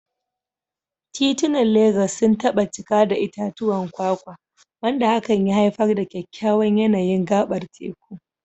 Titunan Legas sun taba cika da itatuwan kwakwa, wanda hakan ya haifar da kyakkyawan yanayin gabar teku.